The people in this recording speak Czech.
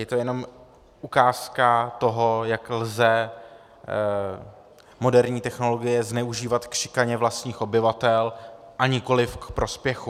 Je to jenom ukázka toho, jak lze moderní technologie zneužívat k šikaně vlastních obyvatel a nikoliv k prospěchu.